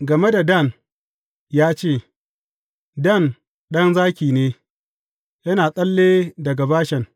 Game da Dan ya ce, Dan ɗan zaki ne, yana tsalle daga Bashan.